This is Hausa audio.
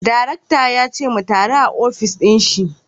Darakta ya ce mu taru a ofis dinshi